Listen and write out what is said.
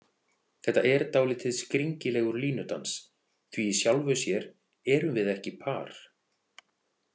Þetta er dálítið skringilegur línudans því í sjálfu sér erum við ekki par.